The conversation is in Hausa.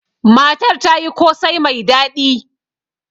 Matar ta yi kosai mai daɗi.